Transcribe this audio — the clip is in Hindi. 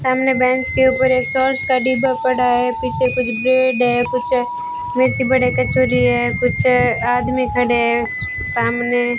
सामने बेंच के ऊपर एक सॉस का डिब्बा पड़ा है पीछे कुछ ब्रेड है कुछ मिर्ची बड़े की है कुछ आदमी खड़े है सामने --